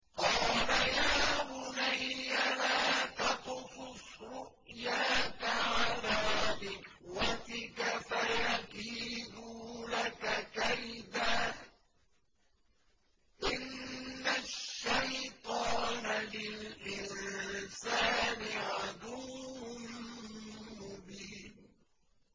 قَالَ يَا بُنَيَّ لَا تَقْصُصْ رُؤْيَاكَ عَلَىٰ إِخْوَتِكَ فَيَكِيدُوا لَكَ كَيْدًا ۖ إِنَّ الشَّيْطَانَ لِلْإِنسَانِ عَدُوٌّ مُّبِينٌ